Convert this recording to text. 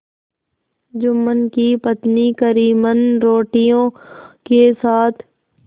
जुम्मन की पत्नी करीमन रोटियों के साथ